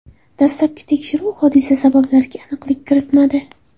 Dastlabki tekshiruv hodisa sabablariga aniqlik kiritmadi.